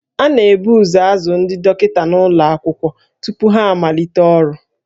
A na-ebu ụzọ azụ ndị dọkịta n'ụlọ akwụkwọ tupu ha amalite ọrụ